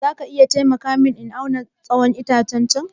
Za ka iya taimaka mini in auna tsawon wannan itacen?